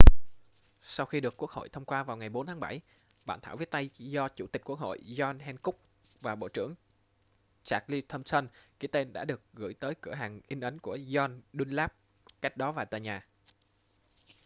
sau khi được quốc hội thông qua vào ngày 4 tháng 7 bản thảo viết tay do chủ tịch quốc hội john hancock và bộ trưởng charles thomson ký tên đã được gửi tới cửa hàng in ấn của john dunlap cách đó vài tòa nhà